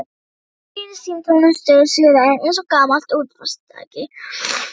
Þögnin í símtólinu suðaði eins og gamalt útvarpstæki.